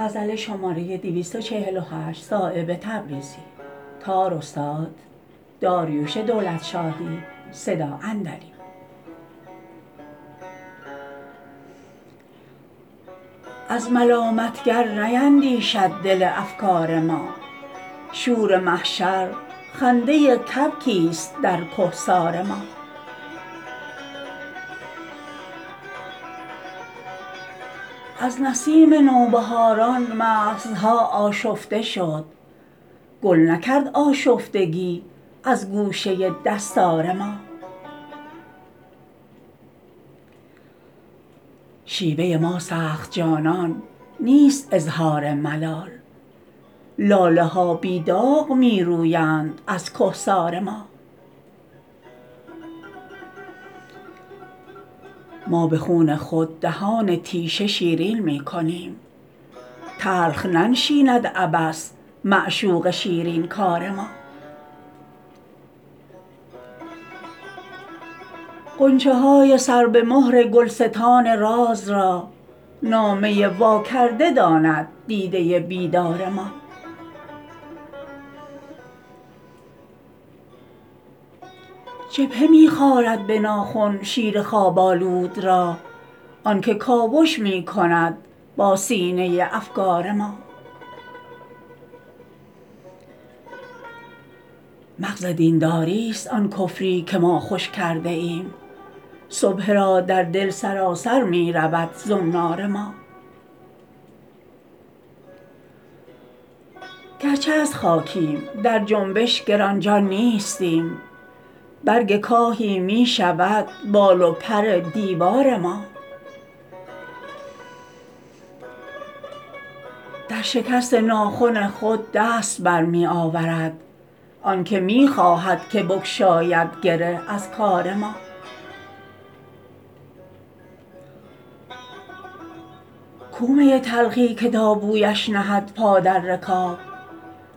از ملامتگر نیندیشد دل افگار ما شور محشر خنده کبکی است در کهسار ما از نسیم نوبهاران مغزها آشفته شد گل نکرد آشفتگی از گوشه دستار ما شیوه ما سخت جانان نیست اظهار ملال لاله ها بی داغ می رویند از کهسار ما ما به خون خود دهان تیشه شیرین می کنیم تلخ ننشیند عبث معشوق شیرین کار ما غنچه های سر به مهر گلستان راز را نامه واکرده داند دیده بیدار ما جبهه می خارد به ناخن شیر خواب آلود را آن که کاوش می کند با سینه افگار ما مغز دینداری است آن کفری که ما خوش کرده ایم سبحه را در دل سراسر می رود زنار ما گرچه از خاکیم در جنبش گرانجان نیستیم برگ کاهی می شود بال و پر دیوار ما در شکست ناخن خود دست بر می آورد آن که می خواهد که بگشاید گره از کار ما کو می تلخی که تا بویش نهد پا در رکاب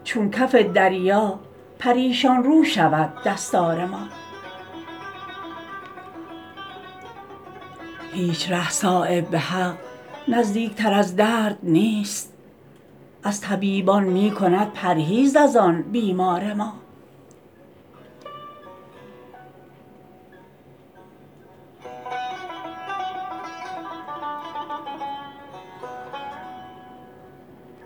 چون کف دریا پریشان رو شود دستار ما هیچ ره صایب به حق نزدیک تر از درد نیست از طبیبان می کند پرهیز ازان بیمار ما